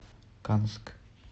канск